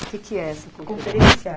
O que que é essa conferência? Conferência